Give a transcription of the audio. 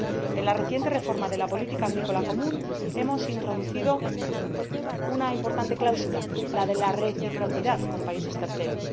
En la reciente reforma de la política agrícola común, hemos introducido una importante cláusula la de la reciprocidad con países terceros.